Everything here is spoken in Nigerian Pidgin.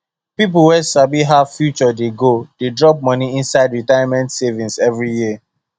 people wey sabi how future dey go dey drop money inside retirement savings every year